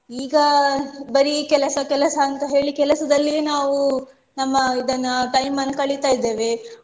ಈಗ ಬರೀ ಕೆಲಸ ಕೆಲಸ ಅಂತ ಹೇಳಿ ಕೆಲಸದಲ್ಲಿಯೇ ನಾವು ನಮ್ಮ ಇದನ್ನ time ಅನ್ನ್ ಕಳಿತಾ ಇದ್ದೇವೆ